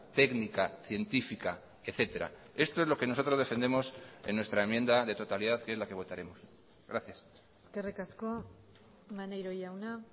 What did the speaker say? técnica científica etcétera esto es lo que nosotros defendemos en nuestra enmienda de totalidad que es la que votaremos gracias eskerrik asko maneiro jauna